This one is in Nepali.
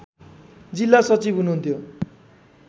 जिल्ला सचिव हुनुहुन्थ्यो